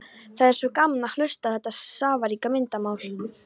Það er svo gaman að hlusta á þetta safaríka myndmál